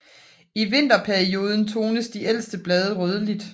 I vinterperioden tones de ældste blade rødligt